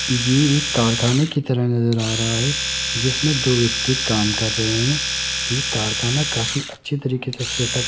ये एक कारखाना की तरह नज़र आ रहा है जिसमें दो व्यक्ति काम कर रहे है ये कारखाना काफी अच्छी तरीके से सेटअप --